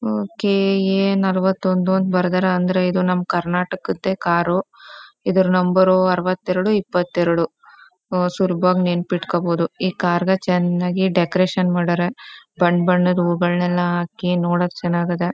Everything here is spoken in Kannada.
ಓಕೆ ಎ ನಲ್ವತ್ತೊಂದು ಅಂತ್ ಬರದಾರ ಅಂದ್ರೆ ಇದು ನಮ್ ಕರ್ನಾಟಕದೆ ಕಾರು ಇದ್ರೂ ನಂಬರು ಅರವತ್ತೆರಡು ಇಪ್ಪತ್ತೆರಡು ಸುಲಭವಾಗ್ ನೆನಪಿಟ್ಕೋಬೋದು. ಈ ಕಾರ್ನ ಚನಾಗಿ ಡೆಕೋರೇಷನ್ ಮಾಡ್ಯಾರ ಬಣ್ಣ್ ಬಣ್ಣದ ಹೂಗಳ್ ಹಾಕಿ ನೋಡಕ್ ಚನಾಗ್ ಅದ.